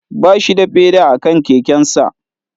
Ba shi da feda a kan kekensa